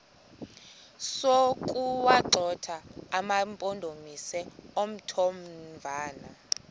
sokuwagxotha amampondomise omthonvama